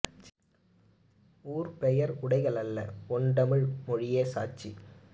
ஊர்பெயர் உடைகள் அல்ல ஒண்டமிழ் மொழியே சாட்சி